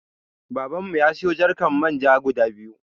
Babanmu ya sayo jarkan Manja guda biyu.